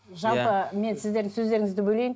жалпы мен сіздердің сөздеріңізді бөлейін